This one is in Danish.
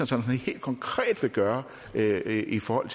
sådan helt konkret vil gøre i forhold